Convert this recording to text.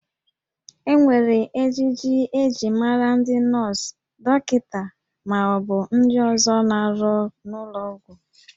E nwere ejiji eji mara ndị nọọsụ, dọkịta, ma ọ bụ ndị ọzọ na-arụ n'ụlọ ọgwụ